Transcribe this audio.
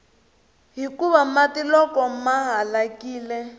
hikuva mati loko ma halakile